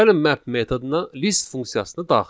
Gəlin map metoduna list funksiyasını daxil edək.